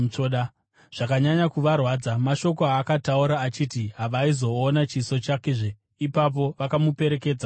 Zvakanyanya kuvarwadza mashoko aakataura achiti havaizoona chiso chakezve. Ipapo vakamuperekedza kuchikepe.